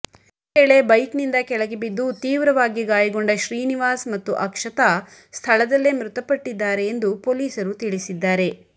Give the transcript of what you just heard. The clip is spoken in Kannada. ಈ ವೇಳೆ ಬೈಕ್ನಿಂದ ಕೆಳಗೆ ಬಿದ್ದು ತೀವ್ರವಾಗಿ ಗಾಯಗೊಂಡ ಶ್ರೀನಿವಾಸ್ ಮತ್ತು ಅಕ್ಷತಾ ಸ್ಥಳದಲ್ಲೇ ಮೃತಪಟ್ಟಿದ್ದಾರೆ ಎಂದು ಪೊಲೀಸರು ತಿಳಿಸಿದ್ದಾರೆ